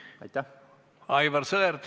Aivar Sõerd, palun!